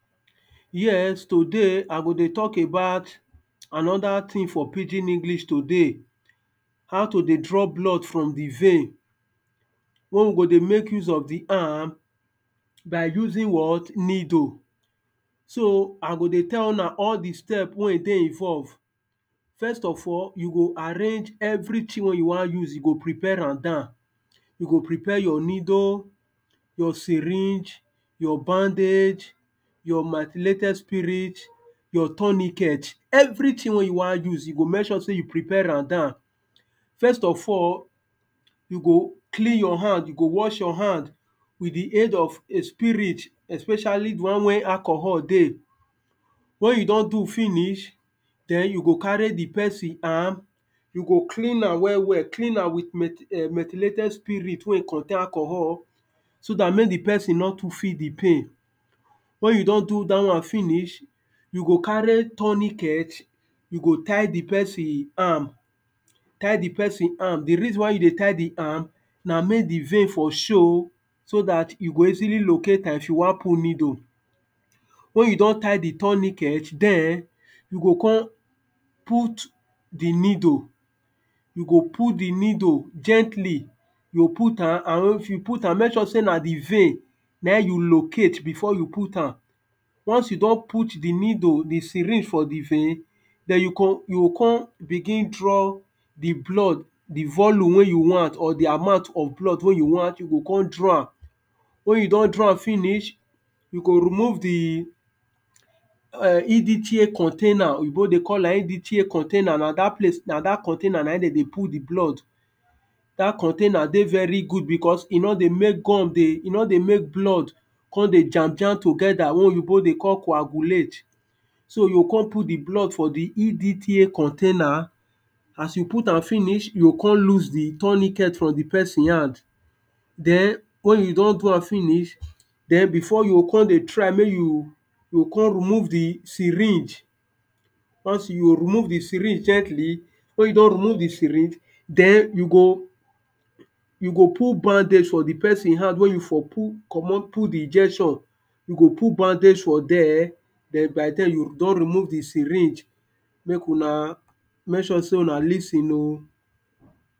Yes today I go dey talk about, another thing for pidgin english today. how to dey draw blood from di vein, wen we go dey make use of di arm, by using what? niddle. so I go dey tell una all di step wey e dey involve. first of all, you go arrange every thing wen you wan use you go prepare am down. you go prepare your niddle, your syringe, your bandage, your my lated spirit, your tourniquet.everything wen you wan use you go make sure sey you prepare am down. first of all, you go clean your hand, you go wash your hand, with di aid of a spirit especially di one wen alchohol dey. wen you don do finish, den you go carry di person arm you go clean am well well, clean am with met um menthylated spirit wen e contain alchohol, so dat make di person nor too feel di pain wen you don do dat one finish, you go carry tourniquet, you go tie di person arm tie di person arm di reason why you dey tie di arm, na make di vein for show so dat you go easily locate am if you wan put niddle. wen you don tie di tourniquet den, you go come put di niddle, you go put di niddles gently, you go put am and if you put am make sure sey na di vein na im you locate before you put am. once you don put di niddle di syringe for di vein, den you go you go con begin draw di blood di volume wey you want or di amount of blood wey you want you go come draw am. wen you don draw am finish, you go remove di um indichie container, oyibo dey call am indichie container na dat place na dat container na im dem dey put di blood. dat container dey very good because e nor dey make gum dey e nor dey make blood con dey jam jam together wen oyibo dey call coagulate. so you go come put di blood for di indichie container, as you put am finish, you go come loose di tourniquet from di person hand, den wen you don do am finish, den before you go come dey try make you, you go come remove di syringe. once you remove di syringe gently, wen you don remove di syringe den you go, you go put bandage for di person hand wen you for komot put di injection you go put bandage for there, den by den you don remove di syringe. make una make sure sey una lis ten o.